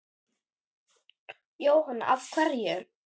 Jóhanna: Af hverju?